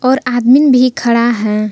और आदमीन भी खड़ा है।